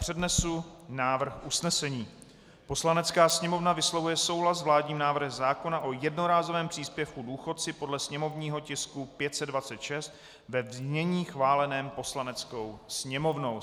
Přednesu návrh usnesení: "Poslanecká sněmovna vyslovuje souhlas s vládním návrhem zákona o jednorázovém příspěvku důchodci podle sněmovního tisku 526 ve znění schváleném Poslaneckou sněmovnou."